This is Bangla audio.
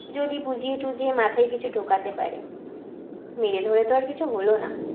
যদি বুঝিয়ে টুঝিয়ে মাথায় কিছু ঢোকাতে পারে মেরে ধরে তো আর কিছু হলো না